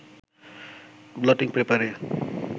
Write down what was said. bloating পেপারে